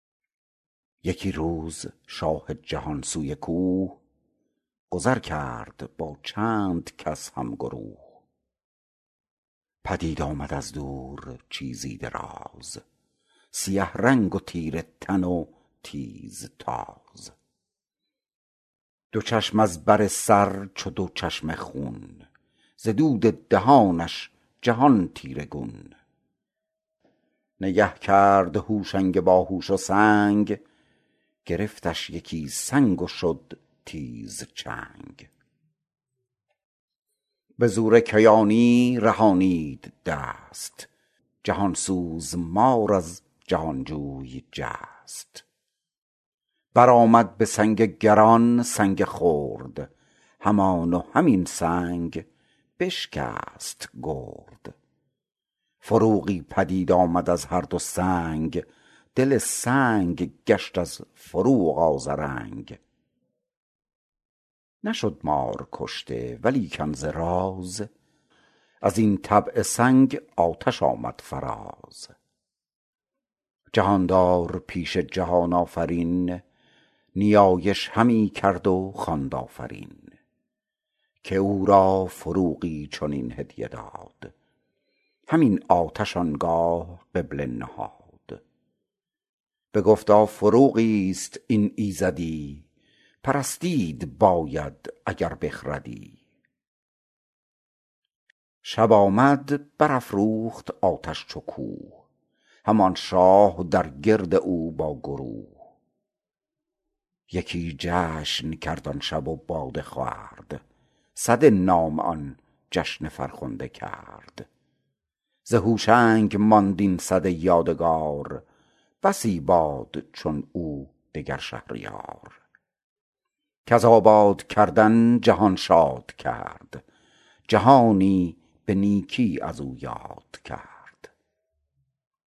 یکی روز شاه جهان سوی کوه گذر کرد با چند کس هم گروه پدید آمد از دور چیزی دراز سیه رنگ و تیره تن و تیز تاز دو چشم از بر سر چو دو چشمه خون ز دود دهانش جهان تیره گون نگه کرد هوشنگ باهوش و سنگ گرفتش یکی سنگ و شد تیز چنگ به زور کیانی رهانید دست جهان سوز مار از جهان جوی جست بر آمد به سنگ گران سنگ خرد همان و همین سنگ بشکست گرد فروغی پدید آمد از هر دو سنگ دل سنگ گشت از فروغ آذرنگ نشد مار کشته ولیکن ز راز از این طبع سنگ آتش آمد فراز جهاندار پیش جهان آفرین نیایش همی کرد و خواند آفرین که او را فروغی چنین هدیه داد همین آتش آنگاه قبله نهاد بگفتا فروغی است این ایزدی پرستید باید اگر بخردی شب آمد بر افروخت آتش چو کوه همان شاه در گرد او با گروه یکی جشن کرد آن شب و باده خورد سده نام آن جشن فرخنده کرد ز هوشنگ ماند این سده یادگار بسی باد چون او دگر شهریار کز آباد کردن جهان شاد کرد جهانی به نیکی از او یاد کرد